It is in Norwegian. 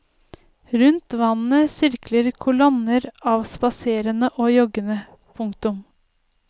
Rundt vannet sirkler kolonner av spaserende og joggende. punktum